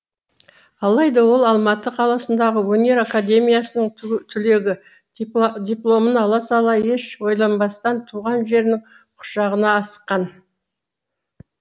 алайда ол алматы қаласындағы өнер академиясының түлегі дипломын ала сала еш ойланбастан туған жерінің құшағына асыққан